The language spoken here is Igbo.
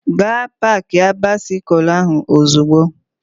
Gaa paakia baisikụl ahụ ozugbo!